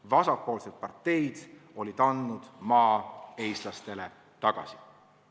Vasakpoolsed parteid olid andnud maa eestlastele tagasi.